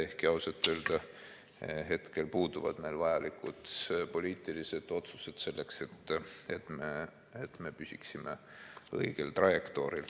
Ehkki ausalt öelda hetkel puuduvad meil vajalikud poliitilised otsused selleks, et me püsiksime õigel trajektooril.